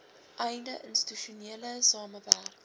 einde institusionele samewerk